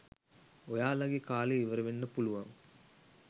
ඔයාලගේ කාලය ඉවරවෙන්න පුලුවන්.